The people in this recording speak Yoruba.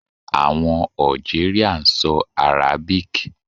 Àwọn Algeria ń so Arabic